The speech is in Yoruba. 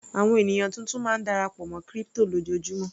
Àwọn ènìyàn tuntun máa ń darapọ̀ mọ́ crypto lójoojúmó.